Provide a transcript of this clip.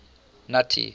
nuttie